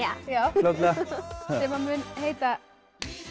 fljótlega sem mun heita